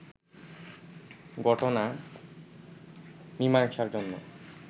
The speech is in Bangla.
ঘটনা মিমাংসার জন্য